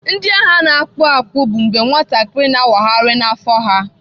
Ndị agha na-akpụ akpụ bụ mgbe nwatakịrị na-awagharị n'afọ ha.